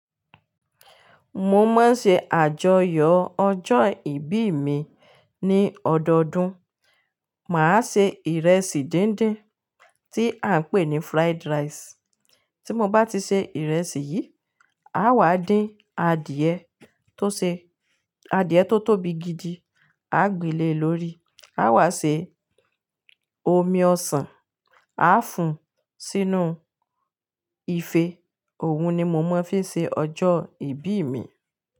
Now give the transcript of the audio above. Mo máa ń ṣe àjọyọ̀ ọjọ́ ìbí mi ní ọdọọdún. Mà á se ìrẹsì díndín tí à ń pè ní fried rice. Tí mo bá ti ṣe ìrẹsì yìí, a wà dín adìyẹ tó ṣe-- adìyẹ tó tóbi gidi, a gbe lé lórí. A wà ṣe omi ọsàn, a fún sínú ife. Òhun ni mo máa ń fi ṣe ọjọ́ ìbí mi.